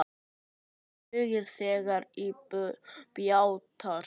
Hver huggar þegar á bjátar?